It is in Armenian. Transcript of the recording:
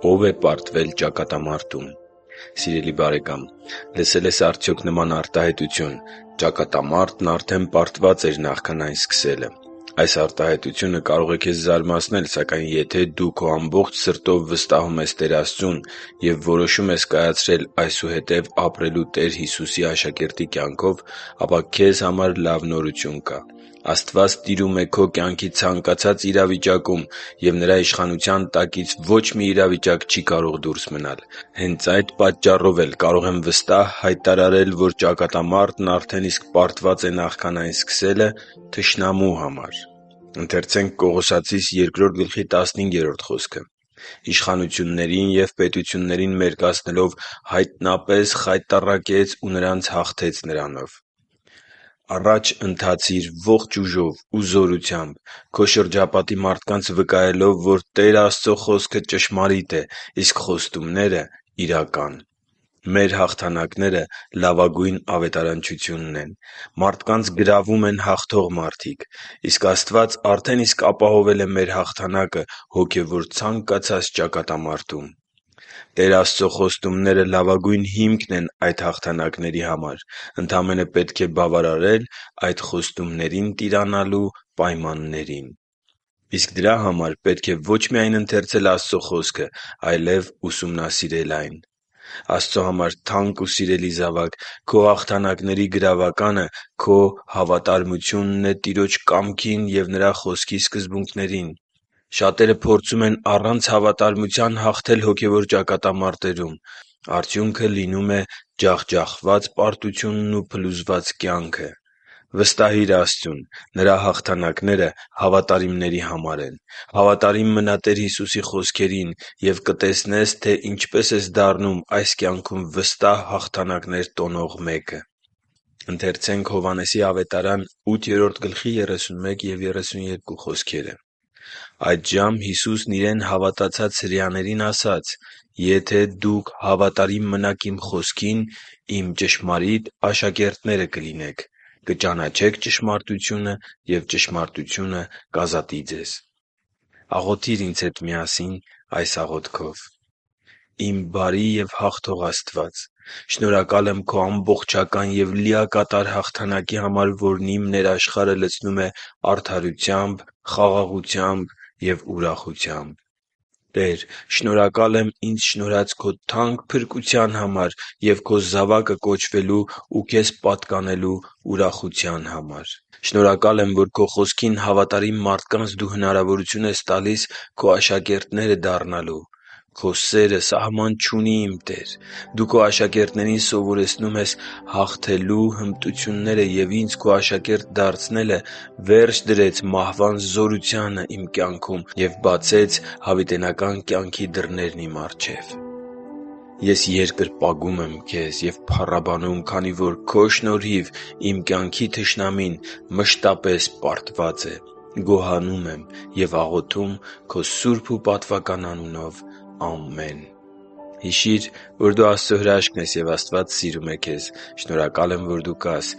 Ո՞վ է պարտվել ճակատամարտում Սիրելի՛ բարեկամ, լսե՞լ ես արդյոք նման արտահայտություն՝ ճակատամարտն արդեն պարտված էր նախքան այն սկսելը։ Այս արտահայտությունը կարող է քեզ զարմացնել, սակայն եթե դու քո ամբողջ սրտով վստահում ես Տեր Աստծուն և որոշում ես կայացրել այսուհետև ապրելու Տեր Հիսուսի աշակերտի կյանքով, ապա քեզ համար լավ նորություն կա՝ Աստված տիրում է քո կյանքի ցանկացած իրավիճակում և Նրա իշխանության տակից ոչ մի իրավիճակ չի կարող դուրս մնալ։ Հենց այդ պատճառով էլ կարող եմ վստահ հայտարարել, որ ճակատամարտն արդեն իսկ պարտված է նախքան այն սկսելը... թշնամու համար։ «․․․իշխանություններին և պետություններին մերկացնելով՝ հայտնապես խայտառակեց ու նրանց հաղթեց Նրանով» (Կողոսացիս 2.15)։ Առաջ ընթացի՛ր քո ողջ ուժով ու զորությամբ՝ քո շրջապատի մարդկանց վկայելով, որ Տեր Աստծո Խոսքը ճշմարիտ է, իսկ խոստումները՝ իրական։ Մեր հաղթանակները լավագույն ավետարանչությունն են։ Մարդկանց գրավում են հաղթող մարդիկ։ Իսկ Աստված արդեն իսկ ապահովել է մեր հաղթանակը հոգևոր ցանկացած ճակատամարտում։ Տեր Աստծո խոստումները լավագույն հիմք են այդ հաղթանակների համար։ Ընդամենը պետք է բավարարել այդ խոստումներին տիրանալու պայմաններին։ Իսկ դրա համար պետք է ոչ միայն ընթերցել Աստծո Խոսքը, այլև ուսումնասիրել այն։ Աստծո համար թանկ ու սիրելի՛ զավակ, քո հաղթանակների գրավականը հավատարմությունն է Տիրոջ կամքին և Նրա Խոսքի սկզբունքներին։ Շատերը փորձում են առանց հավատարմության հաղթել հոգևոր ճակատամարտերում։ Արդյունքը լինում է ջախջախված պարտությունն ու փլուզված կյանքը։ Վստահի՛ր Աստծուն։ Նրա հաղթանակները հավատարիմների համար են։ Հավատարի՛մ մնա Տեր Հիսուսի խոսքերին և կտեսնե՛ս, թե ինչպես ես դառնում այս կյանքում վստահ հաղթանակներ տոնող մեկը․․․ «Այդժամ Հիսուսն իրեն հավատացած հրեաներին ասաց. «Եթե դուք հավատարիմ մնաք իմ խոսքին, իմ ճշմարիտ աշակերտները կլինեք։ Կճանաչեք ճշմարտությունը, և ճշմարտությունը կազատի ձեզ» (Հովհաննես 8․31-32): Աղոթի՛ր ինձ հետ միասին այս աղոթքով․ «Իմ բարի և հաղթող Աստվա՛ծ, շնորհակալ եմ Քո ամբողջական և լիակատար հաղթանակի համար, որն իմ ներաշխարհը լցնում է արդարությամբ, խաղաղությամբ և ուրախությամբ: Տե՛ր, շնորհակալ եմ ինձ շնորհած Քո թանկ փրկության համար և Քո զավակը կոչվելու ու Քեզ պատկանելու ուրախության համար: Շնորհակալ եմ, որ Քո Խոսքին հավատարիմ մարդկանց դու հնարավորություն ես տալիս Քո աշակերտները դառնալու։ Քո սերը սահման չունի, իմ Տե՛ր։ Դու Քո աշակերտներին սովորեցնում ես հաղթելու հմտությունները, և ինձ Քո աշակերտ դարձնելը վերջ դրեց մահվան զորությանը և բացեց հավիտենական կյանքի դռներն իմ առջև: Ես երկրպագում եմ Քեզ և փառաբանում, քանի որ Քո շնորհիվ իմ կյանքի թշնամին մշտապես պարտված է: Գոհանում եմ և աղոթում Քո սուրբ ու պատվական անունով։ Ամե՛ն»: Հիշի՛ր, որ դու Աստծո հրաշքն ես, և Աստված սիրում է քեզ։ Շնորհակալ եմ, որ դու կա՛ս